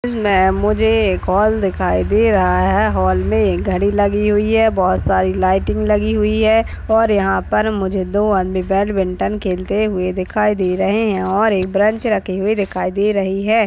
मुझे एक हॉल दिखाई दे रहा है हाल में घड़ी लगी हुई है बहुत सारी लाइटिंग लगी हुई है और यहां पर मुझे दो आदमी बैडमिंटन खेलते हुए दिखाई दे रहे हैं और एक बेंच रखे हुए दिखाई दे रही है।